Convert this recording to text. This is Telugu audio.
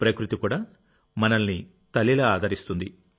ప్రకృతి కూడా మనల్ని తల్లిలా ఆదరిస్తుంది